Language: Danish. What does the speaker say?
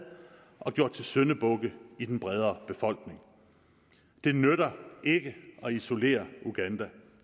og gjort til syndebukke i den brede befolkning det nytter ikke at isolere uganda